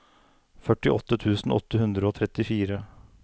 førtiåtte tusen åtte hundre og trettifire